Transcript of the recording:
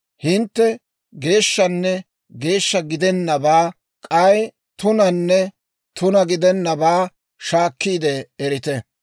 Hintte geeshshanne geeshsha gidennabaa k'ay tunanne tuna gidennabaa shaakkiide erite.